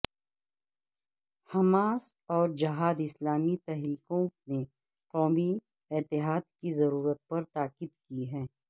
Hamas اور جہاد اسلامی تحریکوں نے قومی اتحاد کی ضرورت پر تاکید کی ہے